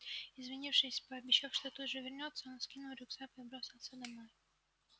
извинившись и пообещав что тут же вернётся он скинул рюкзак и бросился домой